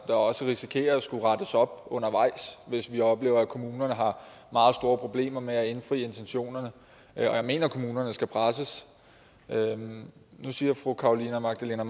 også risikerer at skulle rette op undervejs hvis vi oplever at kommunerne har meget store problemer med at indfri intentionerne og jeg mener kommunerne skal presses nu siger fru carolina magdalene